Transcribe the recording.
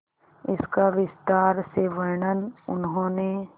इसका विस्तार से वर्णन उन्होंने